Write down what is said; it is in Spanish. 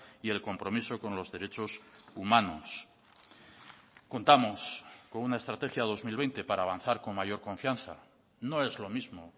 y el compromiso con los derechos humanos contamos con una estrategia dos mil veinte para avanzar con mayor confianza no es lo mismo